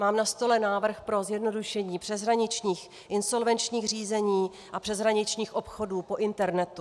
Mám na stole návrh pro zjednodušení přeshraničních insolvenčních řízení a přeshraničních obchodů po internetu.